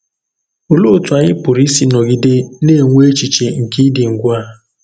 Òlèé òtú ányị̀ pùrù ísì nọ̀gide nà-ènwè èchìchè nke ìdị̀ ngwà.